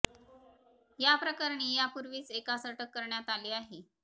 याप्रकरणी या पूर्वीच एकास अटक करण्यात आली आहे